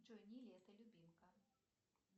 джой не лето любимка